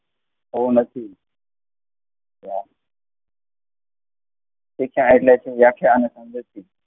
શિક્ષણ એટલે શું? વ્યાખ્યા અને સમજૂતી.